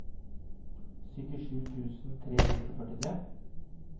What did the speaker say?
syttisju tusen tre hundre og førtitre